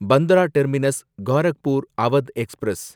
Bandra terminus Gorakhpur Awadh express